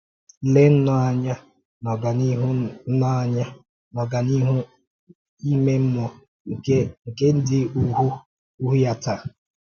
Lèe nnọọ anya n’ọ̀gánịhụ nnọọ anya n’ọ̀gánịhụ íme mmụọ nke ndị òhù ya taa!